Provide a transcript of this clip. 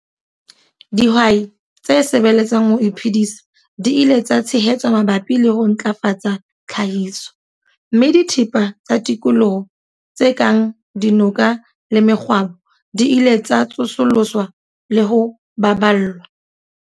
Dihwai tse sebeletsang ho iphedisa di ile tsa tshehetswa mabapi le ho ntlafatsa tlhahiso, mme dithepa tsa tikoloho tse kang dinoka le mekgwabo di ile tsa tsosoloswa le ho baballwa.